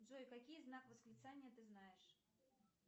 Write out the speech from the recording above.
джой какие знак восклицания ты знаешь